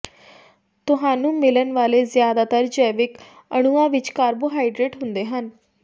ਤੁਹਾਨੂੰ ਮਿਲਣ ਵਾਲੇ ਜ਼ਿਆਦਾਤਰ ਜੈਵਿਕ ਅਣੂਆਂ ਵਿੱਚ ਕਾਰਬੋਹਾਈਡਰੇਟ ਹੁੰਦੇ ਹਨ